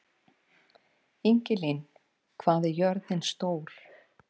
Ingilín, hvað er jörðin stór?